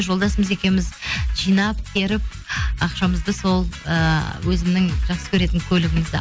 жолдасымыз екеуіміз жинап теріп ақшамызды сол ыыы өзімнің жақсы көретін көлігімізді